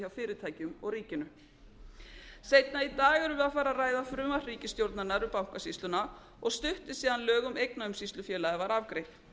fyrirtækjum og ríkinu seinna í dag erum við að fara að ræða frumvarp ríkisstjórnarinnar um bankasýsluna og stutt er síðan lög um eignaumsýslufélagið var afgreitt